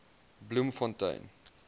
bloemfontein